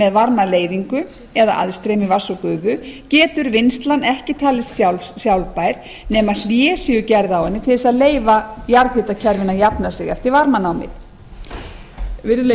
með varmaleiðingu eða aðstreymi vatns og gufu getur vinnslan ekki talist sjálfbær nema hlé séu gerð á henni til þess að leyfa jarðhitakerfinu að jafna sig eftir varmanámið virðulegi